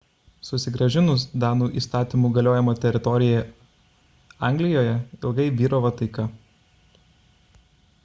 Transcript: susigrąžinus danų įstatymų galiojimo teritoriją anglijoje ilgai vyravo taika